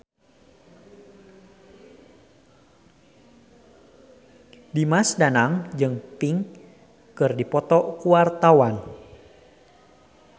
Dimas Danang jeung Pink keur dipoto ku wartawan